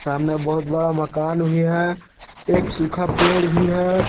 सामने बहुत बड़ा मकान भी है एक सूखा पेड़ भी है।